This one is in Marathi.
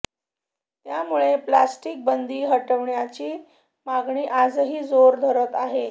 त्यामुळे प्लास्टिक बंदी हटवण्याची मागणी आजही जोर धरत आहे